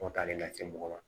Tɔ taali lase mɔgɔ ma